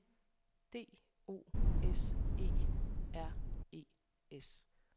D O S E R E S